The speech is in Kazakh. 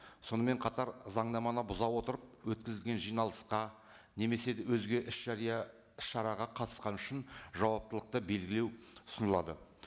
сонымен қатар заңнаманы бұза отырып өткізілген жиналысқа немесе өзге іс жария іс шараға қатысқаны үшін жауаптылықты белгілеу ұсынылады